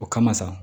O kama sa